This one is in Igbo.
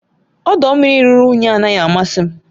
ọdọ mmiri ruru unyi anaghị amasị m